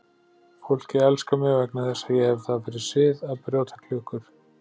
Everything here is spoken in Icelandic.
Fólkið elskar mig vegna þess að ég hef það fyrir sið að brjóta klukkur.